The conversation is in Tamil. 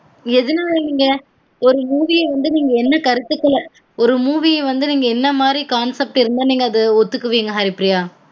எதுனால நீங்க ஒரு movie ய வந்து நீங்க என்ன கருத்து சொல்ல ஒரு movie ய வந்து என்ன மாரி concept இருந்தா நீங்க அத ஒத்துக்குவீங்க ஹரிப்ரியா